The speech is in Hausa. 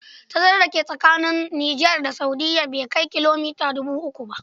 Tazarar da ke tsakanin ƙasar Niger da Saudiya bai kai kilomita dubu uku ba.